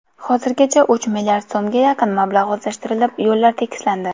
Hozirgacha uch milliard so‘mga yaqin mablag‘ o‘zlashtirilib, yo‘llar tekislandi.